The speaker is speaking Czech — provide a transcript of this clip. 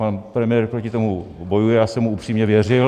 Pan premiér proti tomu bojuje, já jsem tomu upřímně věřil.